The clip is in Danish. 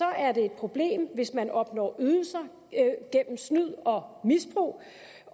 er det et problem hvis man opnår ydelser gennem snyd og misbrug